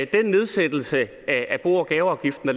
den nedsættelse at at bo og gaveafgiften